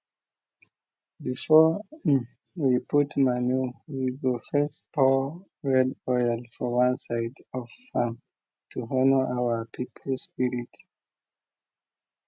before um we put manure we go first pour red oil for one side of farm to honour our people spirit